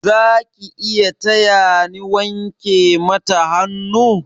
Zaki iya taya ni wanke mata hannu?